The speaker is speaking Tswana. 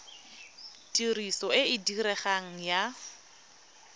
tiriso e e diregang ya